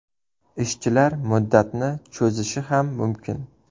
Ishchilar muddatni cho‘zishi ham mumkin.